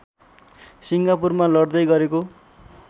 सिङ्गापुरमा लड्दै गरेको